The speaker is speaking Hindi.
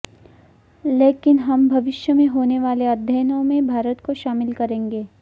लेकिन हम भविष्य में होने वाले अध्ययनों में भारत को शामिल करेंगे